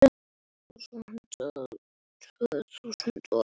Berðu einhvern kala til hans?